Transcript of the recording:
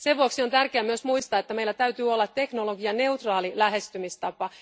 Sen vuoksi on tärkeää myös muistaa, että meillä täytyy olla teknologianeutraali lähestymistapa.